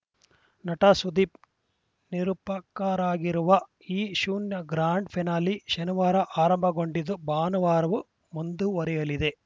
ನಟ ಸುದೀಪ್‌ ನಿರೂಪಕರಾಗಿರುವ ಈ ಶುನಿಯ ಗ್ರ್ಯಾಂಡ್‌ ಫಿನಾಲೆ ಶನಿವಾರ ಆರಂಭಗೊಂಡಿದ್ದು ಭಾನುವಾರವೂ ಮುಂದುವರೆಯಲಿದೆ